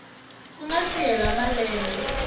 ku nga si hela malembe